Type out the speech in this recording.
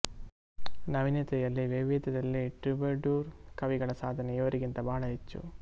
ನವೀನತೆಯಲ್ಲಿ ವೈವಿಧ್ಯದಲ್ಲಿ ಟ್ರೂಬೆಡೂರ್ ಕವಿಗಳ ಸಾಧನೆ ಇವರಿಗಿಂತ ಬಹಳ ಹೆಚ್ಚು